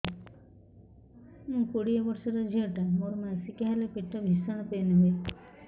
ମୁ କୋଡ଼ିଏ ବର୍ଷର ଝିଅ ଟା ମୋର ମାସିକିଆ ହେଲେ ପେଟ ଭୀଷଣ ପେନ ହୁଏ